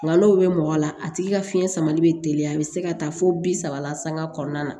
Nkalon bɛ mɔgɔ la a tigi ka fiɲɛ samali bɛ teliya a bɛ se ka taa fo bi saba la sanga kɔnɔna na